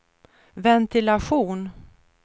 ventilation